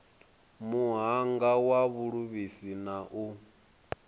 muhanga wa vhuluvhisi na u